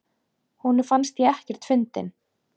Honum fannst ég ekkert fyndin.